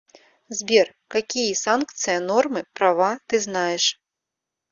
сбер какие санкция нормы права ты знаешь